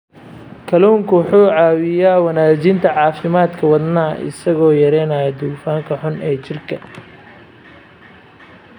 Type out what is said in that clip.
Kalluunku wuxuu caawiyaa wanaajinta caafimaadka wadnaha isagoo yareynaya dufanka xun ee jirka.